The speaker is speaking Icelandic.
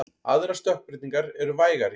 Aðrar stökkbreytingar eru vægari.